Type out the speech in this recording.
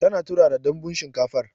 Tana turara Danbun shinkafar